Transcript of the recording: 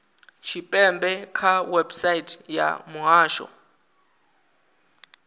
tshipembe kha website ya muhasho